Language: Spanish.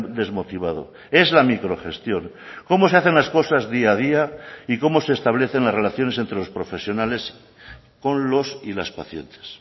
desmotivado es la microgestión cómo se hacen las cosas día a día y cómo se establecen las relaciones entre los profesionales con los y las pacientes